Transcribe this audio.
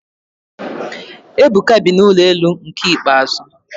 Ebuka bi na ụlọ elu nke ikpeazụ